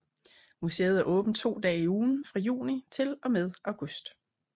Museet er åbent 2 dage i ugen fra juni til og med august